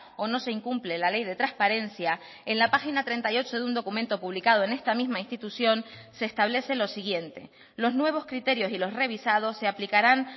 o no se incumple la ley de transparencia en la página treinta y ocho de un documento publicado en esta misma institución se establece lo siguiente los nuevos criterios y los revisados se aplicarán